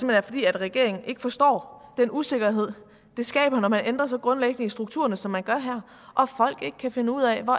er fordi regeringen ikke forstår den usikkerhed det skaber når man ændrer så grundlæggende i strukturerne som man gør her og folk ikke kan finde ud af hvor